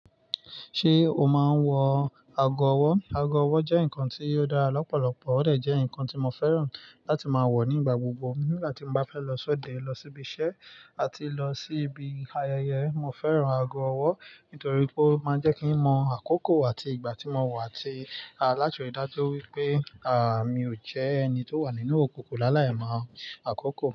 Ṣé o máa ń wọ ago ọwọ́? Ago ọwọ́ jẹ́ nǹkan tí ó dára lọ́pọ̀lọpọ̀, ó dẹ̀ jẹ́ nǹkan tí mo fẹ́ràn láti máa wọ̀ nígbà gbogbo. Nígbà tí mo bá fẹ́ lọ sọ́dẹ̀, lọ síbi iṣẹ́ àti lọ síbi ayẹyẹ, mo fẹ́ràn ago ọwọ́ nítorí pé ó máa ń jẹ́ kí n mọ àkókò àti ìgbà tí mo wà àti láti ríi dájú wípé, à, mi ò jẹ́ ẹni tó wà nínú òkùnkùn ni alayi mọ àkókò.